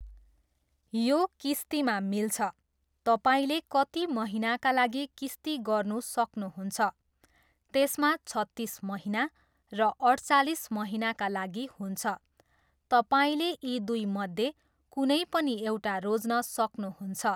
यो किस्तीमा मिल्छ, तपाईँले कति महिनाका लागि किस्ती गर्नु सक्नुहुन्छ, त्यसमा छत्तिस महिना र अठचालिस महिनाका लागि हुन्छ, तपाईँले यी दुईमध्ये कुनै पनि एउटा रोज्न सक्नुहुन्छ।